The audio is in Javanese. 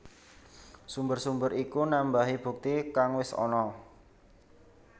Sumber sumber iku nambahi bukti kang wis ana